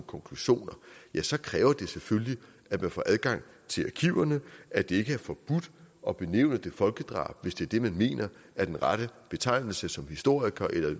konklusioner ja så kræver det selvfølgelig at man får adgang til arkiverne at det ikke er forbudt at benævne det folkedrab hvis det er det man mener er den rette betegnelse som historiker eller